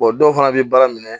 dɔw fana bɛ baara minɛ